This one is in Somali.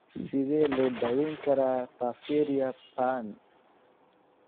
Sidee loo daweyn karaa porphyria ba'an (AIP)?